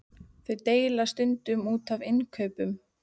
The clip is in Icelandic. Þau deila stundum út af innkaupunum.